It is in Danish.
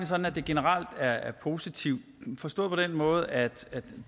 sådan at det generelt er positivt forstået på den måde at